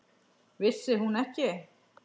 Vissi hún ekki!